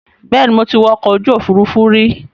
Bẹ́ẹ̀ni, mo ti wọ ọkọ̀ òfuurufú rí